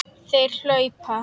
Þeir hlaupa!